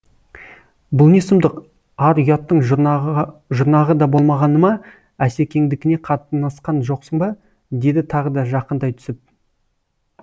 бұл не сұмдық ар ұяттың жұрнағы да болмағаны ма асекеңдікіне қатынасқан жоқсың ба деді тағы да жақындай түсіп